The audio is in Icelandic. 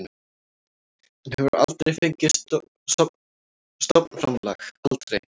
Hann hefur aldrei fengið stofnframlag, aldrei.